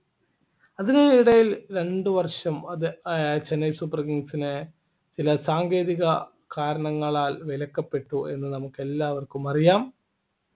അതിനിടയിൽ രണ്ടുവർഷം അത് ആഹ് ചെന്നൈ super kings നെ ചില സാങ്കേതിക കാരണങ്ങളാൽ വിലക്കപ്പെട്ടു എന്ന് നമുക്ക് എല്ലാവർക്കും അറിയാം